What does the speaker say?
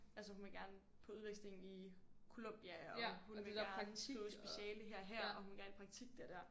Altså hun vil gerne på udveksling i Colombia og hun vil gerne skrive speciale her og her og hun vil gerne i praktik der og der